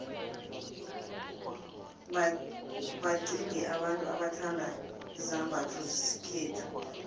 baxiengi abantu abathanda izambotho zesikhethu